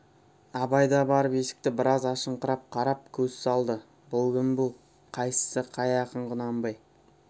абай да барып есікті біраз ашыңқырап қарап көз салды бұл кім бұл қайсысы қай ақын құнанбай